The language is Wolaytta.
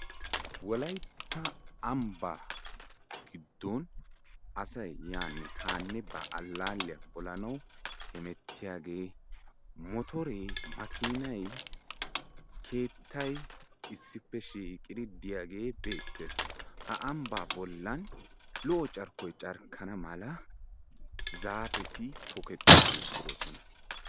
Wolaytta ambbaa giddon asaynne yaanne haanne ba alalliya polanaw hemettiyaage motore makinay keettay issippe shiiqidi de'iyaagee beettees; ha ambba bollan lo''o carkkoy carkkana mala zaapeti tokkiti uttidoosona.